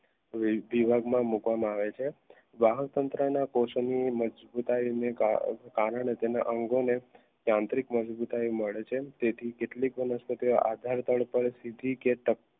મૂકવામાં આવે છે વાહક તંત્રના પોષણ મજબૂતાઇના કારણે તેના અંગોને તાંત્રિક મજબૂતાઈ મળે છે તેથી કેટલીક વનસ્પતિઓ